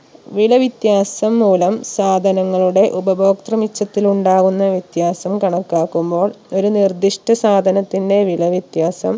വില വിത്യാസം മൂലം സാധനങ്ങളുടെ ഉപഭോക്തൃ മിച്ചതിൽ ഉണ്ടാകുന്ന വിത്യാസം കണക്കാക്കുമ്പോൾ ഒരു നിർദിഷ്ട സാധനത്തിന്റെ വില വ്യത്യാസം